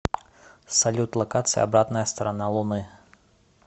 салют локация обратная сторона луны